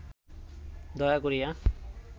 দয়া করিয়া